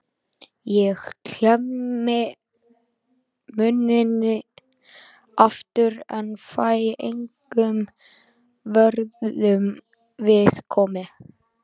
Ég klemmi munninn aftur en fæ engum vörnum við komið.